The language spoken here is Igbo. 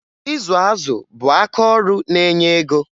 Ịzụ azụ bụ akaọrụ na-enye ego